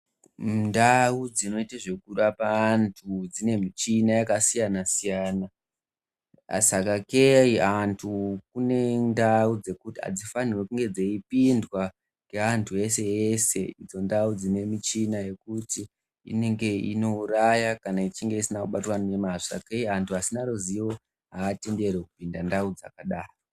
Mundau dzinoita zvekurapa antu dzine michina yakasiyana siyana sakei antu kune ndau dzekuti adzifanirwe kunge dzeipindwa ngeantu ese ese idzo ndau dzine michina yekuti inenge inouraya kana ichinge isina kubatwa ngemazvo sakei antu asina ruziwo atenderwi kupinda ndau dzakadaro.